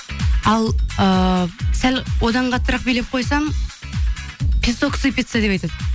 ал ыыы сәл одан қаттырақ билеп қойсам песок сыпиться деп айтады